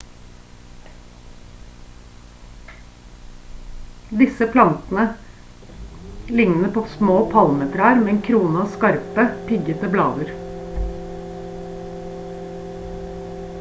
disse plantene ligner på små palmetrær med en krone av skarpe piggete blader